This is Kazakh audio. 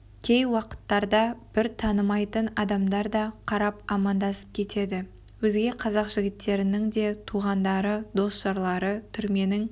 кей уақыттарда бір танымайтын адамдар да қарап амандасып кетеді өзге қазақ жігіттерінің де туғандары дос-жарлары түрменің